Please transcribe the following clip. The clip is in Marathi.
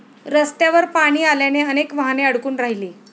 रस्त्यावर पाणी आल्याने अनेक वाहने अडकून राहिली.